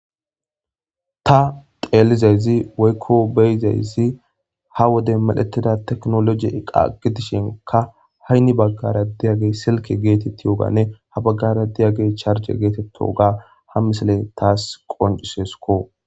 ta xeellizayzi woykko beyizaysi ha woden medhettida teknoloji eqa gidishinka hanni baggara diyagey silke geetettiyoganne ha baggara di'agey charje geetettiyoga ha misaley taas qonciseko